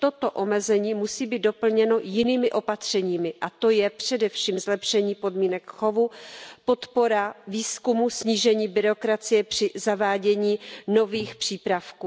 Toto omezení musí být doplněno jinými opatřeními, a to je především zlepšení podmínek chovu, podpora výzkumu, snížení byrokracie při zavádění nových přípravků.